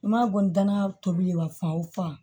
N ma bɔ n da n'a tobi ye wa fan o fan